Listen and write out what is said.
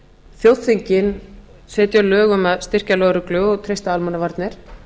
þjóðþingin setja lög um að styrkja lögreglu og treysta almannavarnir